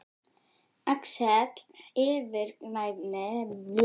Axel yfirgnæfir stjórnmálamanninn þegar hann kallar á mig.